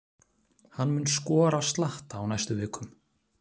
Hann mun skora slatta á næstu vikum.